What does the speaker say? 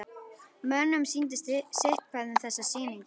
Mönnum sýndist sitthvað um þessa sýningu.